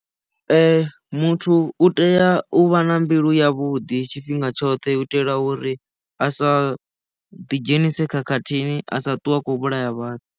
Muthu u tea u vha na mbilu yavhuḓi tshifhinga tshoṱhe u itela uri a sa ḓi dzhenise khakhathini a sa ṱuwe akho vhulaya vhathu.